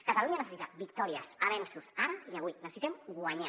catalunya necessita victòries avenços ara i avui necessitem guanyar